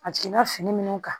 A jiginna fini minnu kan